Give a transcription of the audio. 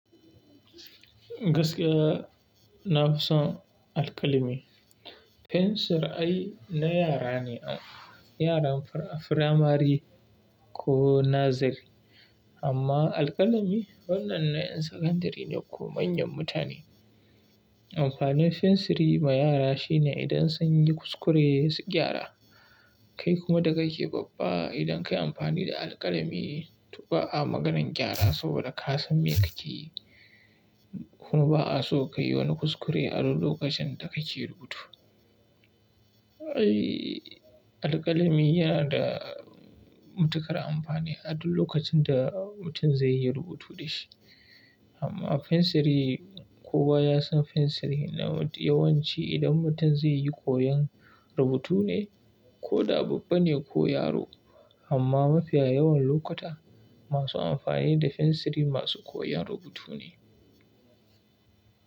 Gaskiya na fi son alƙalami. Fensir ai na yara ne, yaran firamari ko nursery. Amma alƙalami wannan na ƴan sakandare ne ko manyan mutane. Amfanin fensiri ma yara shine idan sun yi kuskure su gyara, kai kuma da kake babba idan ka yi amfani da alƙalami tu ba'a maganan gyara saboda ka san me kake yi. Kuma ba a so ka yi wani kuskure a duk lokacin da kake rubutu. Ai alƙalami yana da matuƙar amfani a duk lokacin da mutum zai yi rubutu da shi. Amma fensiri kowa ya san fensiri na yawanci idan mutum zai yi koyon rubutu ne, ko da babba ne ko yaro. Amma mafiya yawan lokuta masu amfani da fensiri masu koyan rubutu ne.